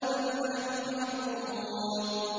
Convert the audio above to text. بَلْ نَحْنُ مَحْرُومُونَ